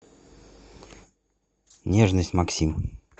нежность максим